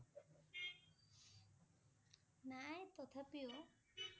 নাই তথাপিও,